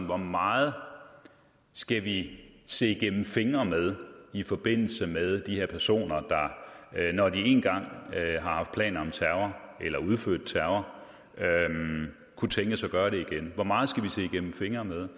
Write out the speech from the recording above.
hvor meget skal vi se igennem fingre med i forbindelse med de her personer der når de én gang har haft planer om terror eller har udført terror kunne tænkes at gøre det igen hvor meget skal vi se igennem fingre med